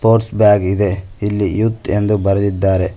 Purse bag ಇದೆ ಇಲ್ಲಿ youth ಎಂದು ಬರೆದಿದ್ದಾರೆ.